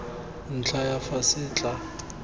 ntlha ya fa se tla